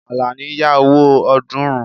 Àlàní ya owó ọ̀ọ́dúnrún